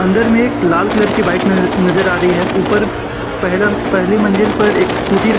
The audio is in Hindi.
अंदर में एक लाल कलर की बाइक नज नजर आ रही है ऊपर पहला पहली मंजिल पर एक स्कूटी --